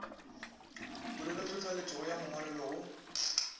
polelotlhohleletšo go ya mongwalelo go